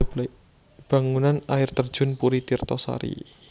Bangunan Air Terjun Puri Tirto Sari